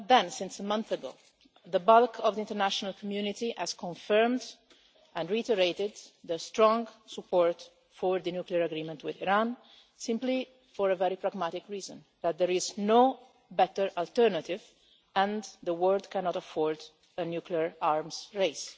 Since a month ago, the bulk of the international community has confirmed and reiterated the strong support for the nuclear agreement with Iran, simply for a very pragmatic reason that there is no better alternative and the world cannot afford a nuclear arms race.